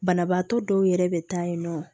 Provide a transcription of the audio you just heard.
Banabaatɔ dɔw yɛrɛ bɛ taa yen nɔ